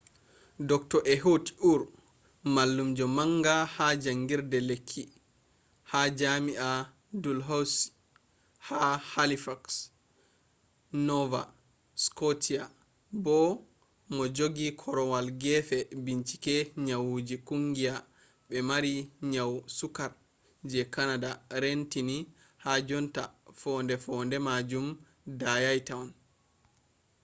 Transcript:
dr. ehud ur mallumjo manga ha jangirde lekki ha jami'a dalhousie ha halifax nova scotia bo mojogi korwal gefe bincike nyauji kungiya be mari nyau sukkar je canada reentini ha jonta fonde-fonde majum dayai tohon